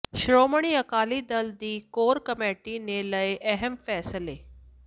ਸ਼੍ਰੋਮਣੀ ਅਕਾਲੀ ਦਲ ਦੀ core committee ਨੇ ਲਏ ਅਹਿਮ ਫੈਸਲੇ